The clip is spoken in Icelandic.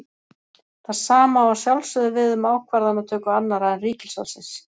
Það sama á að sjálfsögðu við um ákvarðanatöku annarra en ríkisvaldsins.